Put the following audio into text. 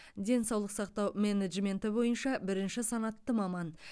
денсаулық сақтау менеджменті бойынша бірінші санатты маман